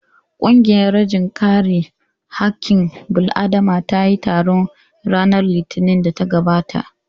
Ƙungiyar rajin kare haƙƙin bil'adama ta yi taro ranar Litinin ɗin da ta gabata